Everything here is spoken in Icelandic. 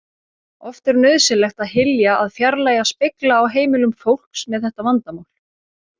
Oft er nauðsynlegt að hylja að fjarlægja spegla á heimilum fólks með þetta vandamál.